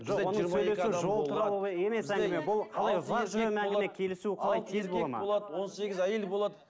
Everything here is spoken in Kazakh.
он сегіз әйел болады